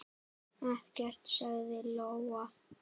Ekkert, sagði Lóa.